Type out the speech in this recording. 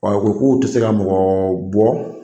Ɔ ko k'u tɛ se ka mɔgɔ bɔ